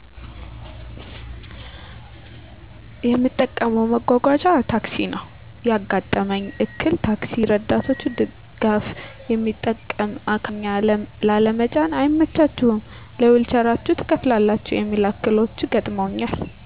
የምጠቀመው መጓጓዣ ታክሲ ነው ያጋጠመኝ እክል ታክሲ እርዳቶች ድጋፍ የሚጠቀም አካል ጉዳተኛን ላለመጫን አይመቻችሁም ለዊልቸራችሁ ትከፍላላችሁ የሚሉ እክሎች ገጥመውኛል።